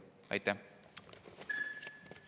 Aitäh!